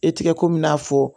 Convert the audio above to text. E tɛ ko min n'a fɔ